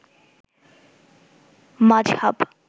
মাজহাব